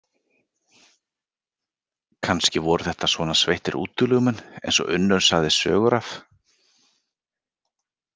Kannski voru þetta svona sveittir útilegumenn eins og Unnur sagði sögur af.